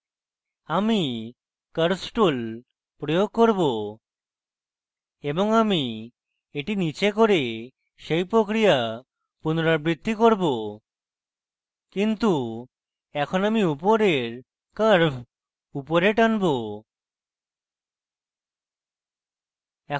আমি curves tool প্রয়োগ করব এবং আমি এটি নীচে করে সেই প্রক্রিয়া পুনরাবৃত্তি করব কিন্তু এখন আমি উপরের curves upper টানবো